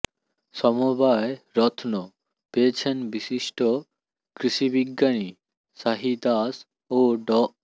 সমবায় রত্ন পেয়েছেন বিশিষ্ট কৃষিবিজ্ঞানী সাহি দাস ও ড